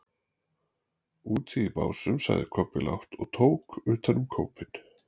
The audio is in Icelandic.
Úti í Básum, sagði Kobbi lágt og tók utan um kópinn.